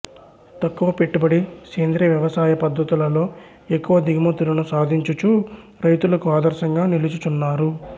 తక్కువ పెట్టుబడి సేంద్రియ వ్యవసాయ పద్ధతులతో ఎక్కువ దిగుమతులను సాధించుచూ రైతులకు ఆదర్శంగా నిలుచుచున్నారు